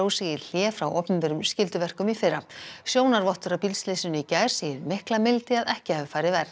sig í hlé frá opinberum skylduverkum í fyrra sjónarvottur að bílslysinu í gær segir mikla mildi að ekki hafi farið verr